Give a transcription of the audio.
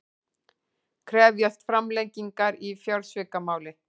Krefjast framlengingar í fjársvikamáli